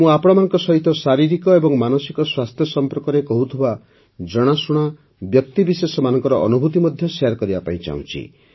ମୁଁ ଆପଣମାନଙ୍କ ସହିତ ଶାରୀରିକ ଏବଂ ମାନସିକ ସ୍ୱାସ୍ଥ୍ୟ ସମ୍ପର୍କରେ କହୁଥିବା ଜଣାଶୁଣା ବ୍ୟକ୍ତିବିଶେଷମାନଙ୍କ ଅନୁଭୁତି ମଧ୍ୟ ଶେୟାର କରିବାକୁ ଚାହୁଁଛି